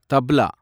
tabla